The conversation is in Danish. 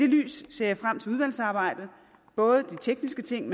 lys ser jeg frem til udvalgsarbejdet både de tekniske ting